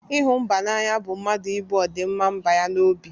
Ịhụ mba n'anya bụ mmadụ ibu ọdịmma mba ya n'obi.